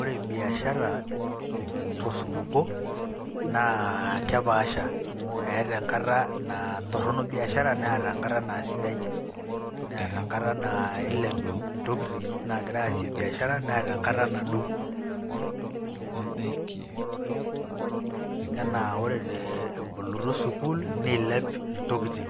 Ore biashara tosupuko naa kepaasha eeta engata naa kaitorrono biashara neeta engata naa sidai neeta engata naa eilep intokitin naagirai aasie biashara neeta engata nadou...anaa ore ebolitoi sukuul neilep intokitin